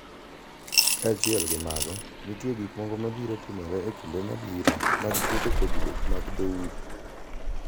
Kaachiel gi mago, nitie gik moko mabiro timore e kinde mabiro mag tieko pogruok mag dhoudi